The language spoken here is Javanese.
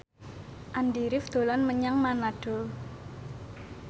Andy rif dolan menyang Manado